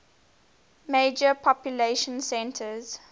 major population centers